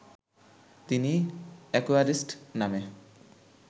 তিনি অ্যাকোয়ারিস্ট নামে